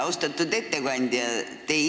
Austatud ettekandja!